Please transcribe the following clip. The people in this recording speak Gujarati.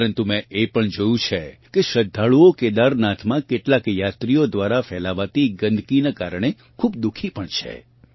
પરન્તુ મેં એ પણ જોયું છે કે શ્રદ્ધાળુઓ કેદારનાથમાં કેટલાક યાત્રીઓ દ્વારા ફેલાવાતી ગંદકીનાં કારણે ખૂબ દુખી પણ છે